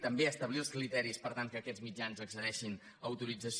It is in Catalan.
també a establir els criteris per tal que aquests mitjans accedeixin a autorització